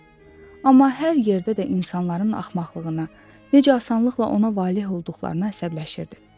Amma hər yerdə də insanların axmaqlığına, necə asanlıqla ona valeh olduqlarına əsəbləşirdi.